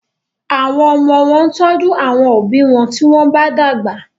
Àwọn omo wón tọjú àwọn òbí wón tí wón bá dàgbà.